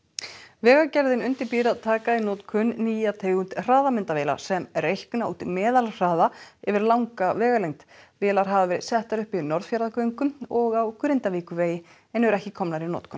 vegagerðin undirbýr að taka í notkun nýja tegund hraðamyndavéla sem reikna út meðalhraða yfir langa vegalengd vélar hafa verið settar upp í Norðfjarðargöngum og á Grindavíkurvegi en eru ekki komnar í notkun